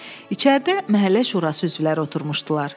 İçəridə məhəllə şurası üzvləri oturmuşdular.